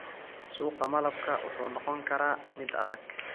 Suuqa malabka wuxuu noqon karaa mid adag.